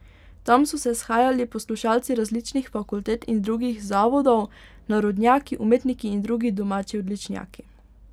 Tam so se shajali poslušalci različnih fakultet in drugih zavodov, narodnjaki, umetniki in drugi domači odličnjaki.